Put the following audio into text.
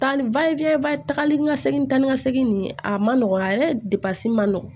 Taali tagali ni ka segin taa ni ka segin nin ye a man nɔgɔ a yɛrɛ de ma se ma nɔgɔn